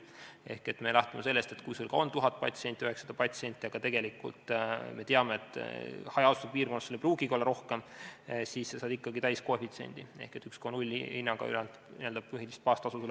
Ehk me lähtume sellest, et kui sul ka on 1000 patsienti või 900 patsienti – tegelikult me teame, et hajaasustusega piirkonnas ei pruugigi rohkem olla –, siis sa saad ikkagi täiskoefitsiendi ehk sulle arvestatakse 1,0 hinnaga n-ö põhilist baastasu.